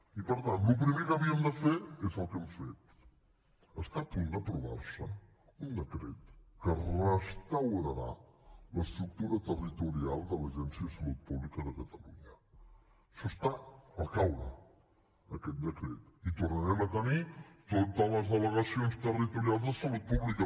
i per tant el primer que havíem de fer és el que hem fet està a punt d’aprovar se un decret que restaurarà l’estructura territorial de l’agència de salut pública de catalunya això està al caure aquest decret i tornarem a tenir totes les delegacions territorials de salut pública